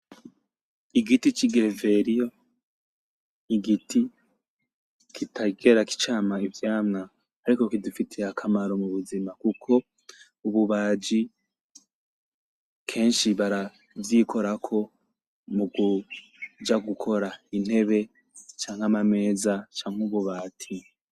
Igiti c'igereveriyo, igiti kitigera cama ivyamwa ariko kidufitiye akamaro mu buzima kuko ububaji kenshi baravyikorako mukuja gukora intebe canke amameza canke ububati.